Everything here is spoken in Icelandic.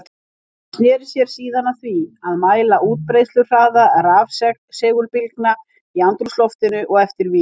Hann sneri sér síðan að því að mæla útbreiðsluhraða rafsegulbylgna í andrúmsloftinu og eftir vír.